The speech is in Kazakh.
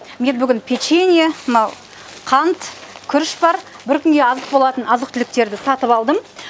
мен бүгін печенье мынау қант күріш бар бір күнге азық болатын азық түліктерді сатып алдым